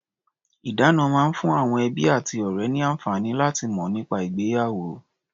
Ìdána máa ń fún àwọn ẹbí àti ọ̀rẹ́ ní àǹfààní láti mọ̀ nípa ìgbéyàwó.